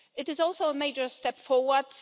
It is also a major step forward.